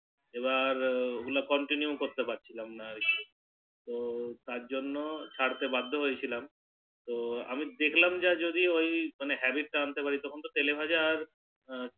এবার ওগুলো Continue করতে পারছিলাম না তো তারজন্য ছাড়তে বাধ্য হয়েছিলাম তো আমি দেখলাম যে যদি ওই মানে Habits টা আনতে পারি তখন তো তেলে ভাজা আর